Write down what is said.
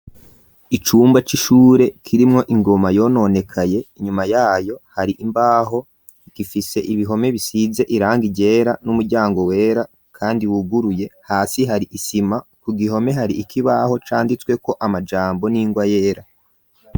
Icumba c'ishure kirimwo ingoma yononekaye inyuma yayo hari imbaho zifise ibihome bisize irangi ryera n'umuryango wera kandi wuguruye hasi hari isima ku gihome hari ikibaho canditsweko amajambo n'ingwa yera.